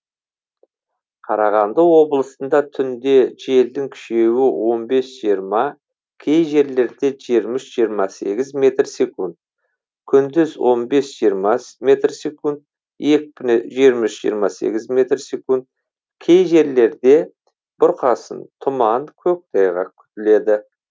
қарағанды облысында түнде желдің күшеюі он бес жиырма кей жерлерде жиырма үш жиырма сегіз метр секунд күндіз он бес жиырма метр секунд екпіні жиырма үш жиырма сегіз метр секунд кей жерлерде бұрқасын тұман көктайғақ күтіледі